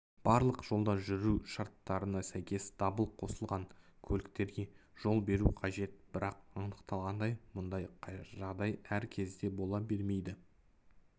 барлық жолда жүру шарттарына сәйкес дабыл қосылған көліктерге жол беру қажет бірақ анықталғандай мұндай жағдай әр кезде бола бермейді